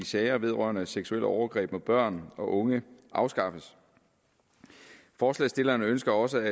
sager vedrørende seksuelle overgreb mod børn og unge afskaffes forslagsstillerne ønsker også